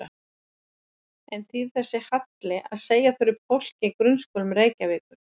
En þýðir þessi halli að segja þurfi upp fólki í grunnskólum Reykjavíkur?